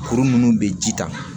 Kuru minnu be ji ta